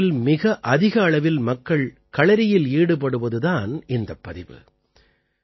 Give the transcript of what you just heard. ஒரே நேரத்தில் மிக அதிக அளவில் மக்கள் களறியில் ஈடுபடுவது தான் இந்தப் பதிவு